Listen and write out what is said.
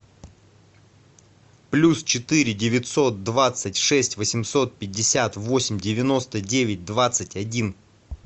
плюс четыре девятьсот двадцать шесть восемьсот пятьдесят восемь девяносто девять двадцать один